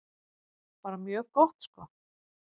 Bara mjög gott sko.